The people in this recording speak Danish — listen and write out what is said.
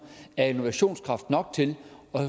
er innovationskraft nok til